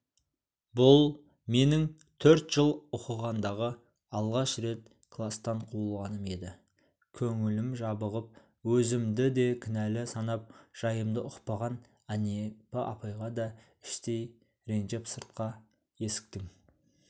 бұл менің төрт жыл оқығандағы алғаш рет кластан қуылғаным еді көңілім жабығып өзімді де кінәлі санап жайымды ұқпаған әнипа апайға да іштей ренжіп сыртқы есіктің